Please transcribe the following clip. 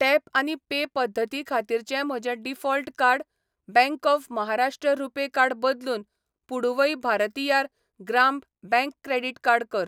Tap आनी pay पद्दती खातीरचें म्हजें default card bank of Maharashtra RuPay card बदलून Puduvai Bharathiar Grama bank credit card कर.